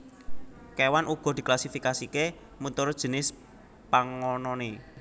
Kéwan uga diklasifikasiké miturut jinis pangononé